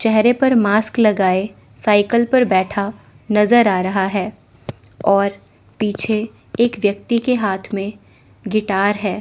चेहरे पर मास्क लगाए साइकल पर बैठा नज़र आ रहा है और पीछे एक व्यक्ति के हाथ में गिटार है।